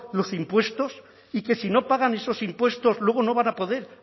los impuestos y que si no pagan esos impuestos luego no van a poder